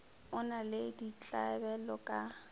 o na le ditlabelo ka